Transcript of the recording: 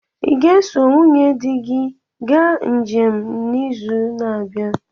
ị ga-eso nwunye di gị ga njem n'izu na-abịa?